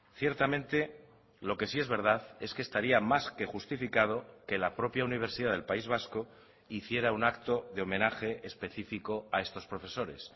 ciertamente lo que sí es verdad es que estaría más que justificado que la propia universidad del país vasco hiciera un acto de homenaje específico a estos profesores